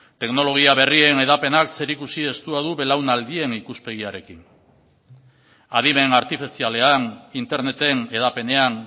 teknologia berrien hedapenak zerikusi estua du belaunaldien ikuspegiarekin adimen artifizialean interneten hedapenean